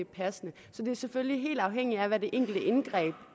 passende så det er selvfølgelig helt afhængigt af hvad det enkelte indgreb